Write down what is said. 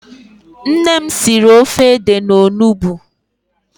Nne m siri ofe ede na onugbu.